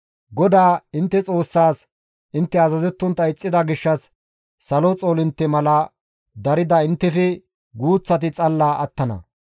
GODAA intte Xoossaas intte azazettontta ixxida gishshas salo xoolintte mala darida inttefe guuththati xalla attana.